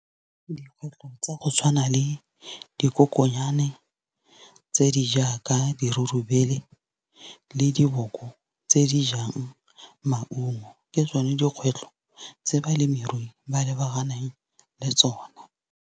Dikgwetlho tsa go tshwana le dikoko nnyane, tse di jaaka dirurubele, le diboko tse di jang maungo, ke tsone dikgwetlho tse balemirui ba lebaganeng le tsona.